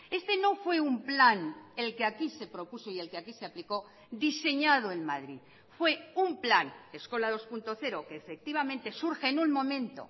este no fue un plan el que aquí se propuso y el que aquí se aplicó diseñado en madrid fue un plan eskola dos punto cero que efectivamente surge en un momento